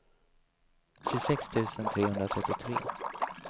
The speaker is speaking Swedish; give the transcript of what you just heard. tjugosex tusen trehundratrettiotre